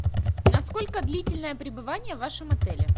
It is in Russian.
насколько длительное пребывание в вашем отеле